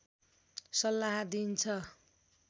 सल्लाह दिइन्छ